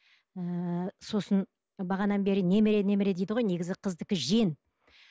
ыыы сосын бағанадан бері немере немере дейді ғой қыздікі жиен